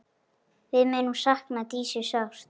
Við munum sakna Dísu sárt.